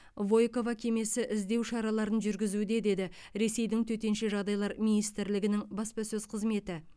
войково кемесі іздеу шараларын жүргізуде деді ресейдің төтенше жағдайлар министрлігінің баспасөз қызметі